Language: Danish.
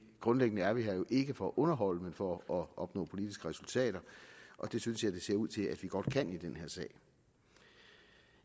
grundlæggende er vi her jo ikke for at underholde men for at opnå politiske resultater og det synes jeg det ser ud til at vi godt kan i denne sag